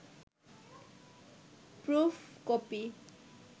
proof copy